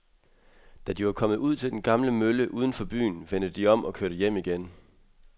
Da de var kommet ud til den gamle mølle uden for byen, vendte de om og kørte hjem igen.